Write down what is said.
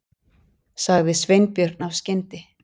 sagði Sveinbjörn af skyndi